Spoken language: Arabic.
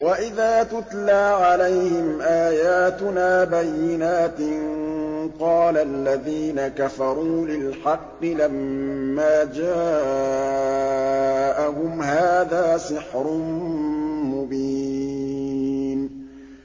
وَإِذَا تُتْلَىٰ عَلَيْهِمْ آيَاتُنَا بَيِّنَاتٍ قَالَ الَّذِينَ كَفَرُوا لِلْحَقِّ لَمَّا جَاءَهُمْ هَٰذَا سِحْرٌ مُّبِينٌ